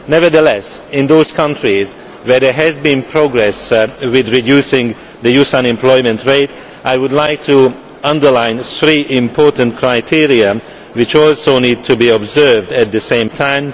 Nevertheless in those countries where there has been progress in reducing the youth unemployment rate, I would like to underline three important criteria which also need to be observed at the same time.